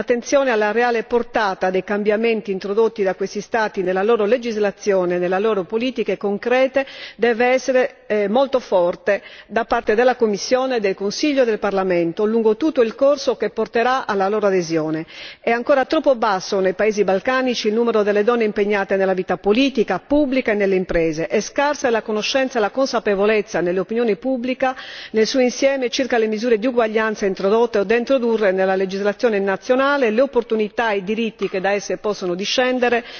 Pertanto, l'attenzione alla reale portata dei cambiamenti introdotti da questi Stati nella loro legislazione e nelle loro politiche concrete deve essere molto forte da parte della Commissione, del Consiglio e del Parlamento lungo tutto il processo che porterà alla loro adesione. È ancora troppo basso nei paesi balcanici il numero delle donne impegnate nella vita politica, pubblica e nelle imprese e scarsa è la conoscenza e la consapevolezza dell'opinione pubblica, nel suo insieme, circa le misure di uguaglianza introdotte o da introdurre nella legislazione nazionale, le opportunità e i diritti che da esse possono discendere,